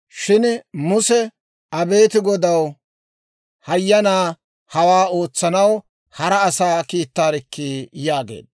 Shin Muse, «Abeet Godaw, hayyanaa, hawaa ootsanaw hara asaa kiittaarikkii!» yaageedda.